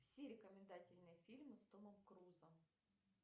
все рекомендательные фильмы с томом крузом